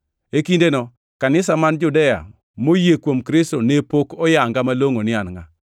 E kindeno kanisa man Judea moyie kuom Kristo ne pok oyanga malongʼo ni an ngʼa.